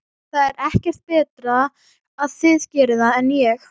Það er ekkert betra að þið gerið það en ég.